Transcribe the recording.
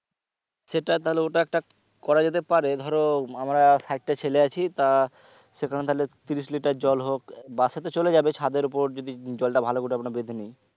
সেটা তাহলে ওটা একটা করা যেতে পারে ধরো আমরা ষাট টা ছেলে আছি তা সে কারণে তাহলে তিরিশ লিটার জল হোক bus এ তো চলে যাবে ছাদের উপর যদি জল টা ভালো করে মানে বেঁধে নি